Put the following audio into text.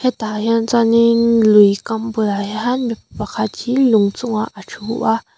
hetah hian chuanin lui kam bulah hianin mipa pakhat hi a ṭhu a.